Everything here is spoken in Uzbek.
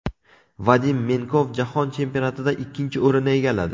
Vadim Menkov Jahon chempionatida ikkinchi o‘rinni egalladi.